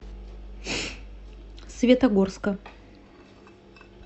светогорска